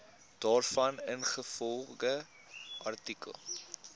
daarvan ingevolge artikel